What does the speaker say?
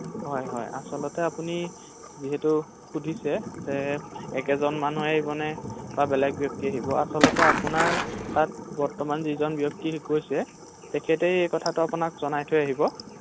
হয় হয় আচলতে আপুনি যিহেতু সুধিছে যে একেজন মানুহে আহিব নে বা বেলেগ ব্যক্তি আহিব ৷আচলতে আপোনাৰ তাত বৰ্তমান যিজন ব্যক্তি গৈছে তেখেতেই এই কথাটো আপোনাক জনাই থৈ আহিব৷